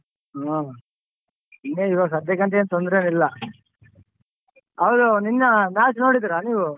ಹ್ಮ್ ಇನ್ನೇನ್ ಈವಾಗ್ ಸದ್ಯಕ್ ಏನ್ ತೊಂದ್ರೆ ಏನ್ ಇಲ್ಲ. ಹೌದು ನೆನ್ನೆ match ನೋಡಿದ್ರ ನೀವು?